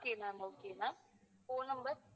okay ma'am okay ma'am phone number